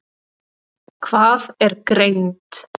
Hvað er greind?